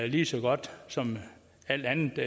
lige så godt som alt andet